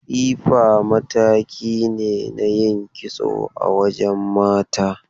Tsifa mataki ne na yin kitso a wajen mata.